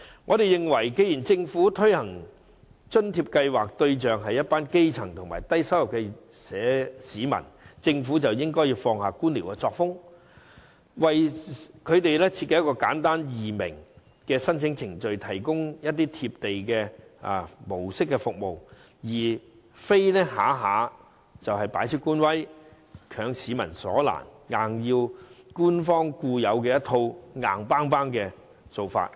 我們認為，既然政府推行津貼計劃，對象是一群基層和低收入市民，政府便應放下官僚作風，為他們設計一套簡單易明的申請程序，提供"貼地"模式的服務，而非動輒擺出官威，強市民所難，硬要跟從官方固有那套硬蹦蹦的做法。